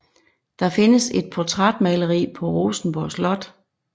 Der findes et portrætmaleri på Rosenborg Slot